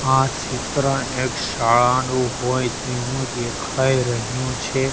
આ ચિત્ર એક શાળાનું હોય તેવું દેખાય રહ્યું છે.